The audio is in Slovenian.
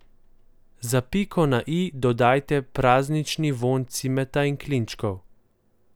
Za piko na i dodajte praznični vonj cimeta in klinčkov.